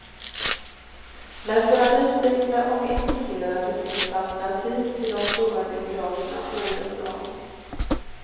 Men för den nyfikne och intresserade finns alternativ till de stora biograferna året om.